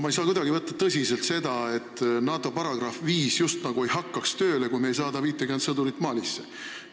Ma ei saa kuidagi võtta tõsiselt seda, et NATO asutamislepingu artikkel 5 justnagu ei hakkaks tööle, kui me ei saada 50 Eesti sõdurit Malisse.